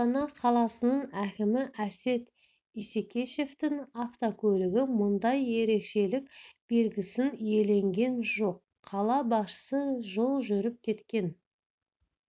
астана қаласының әкімі әсет исекешевтің автокөлігі мұндай ерекшелік белгісін иеленген жоқ қала басшысы жол жүріп кеткен